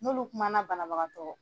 N'olu kumana banabagatɔ.